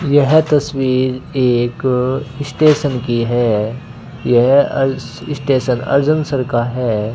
यह तस्वीर एक स्टेशन की है यह अर स्टेशन अर्जनसर का है।